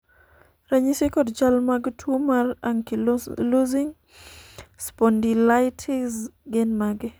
ranyisi kod chal mag tuo mar Ankylosing spondylitis gin mage?